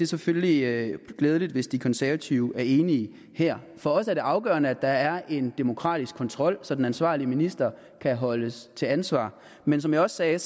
selvfølgelig glædeligt hvis de konservative er enige her for os er det afgørende at der er en demokratisk kontrol så den ansvarlige minister kan holdes til ansvar men som jeg også sagde er